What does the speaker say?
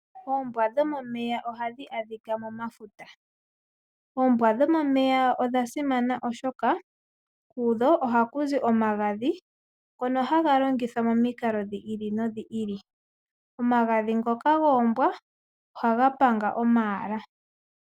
Oombwa dhomomeya ohadhi adhika momafuta nodha simana oshoka kudho ohaku zi omagadhi ngoka haga longithwa momikalo dha yooloka ngaashi okupanga omayala.